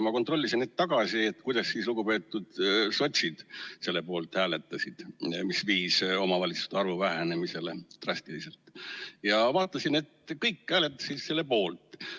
Ma kontrollisin hetk tagasi üle, kuidas lugupeetud sotsiaaldemokraadid hääletasid selle poolt, mis viis omavalitsuste arvu drastilise vähenemiseni, ja vaatasin, et kõik hääletasid selle poolt.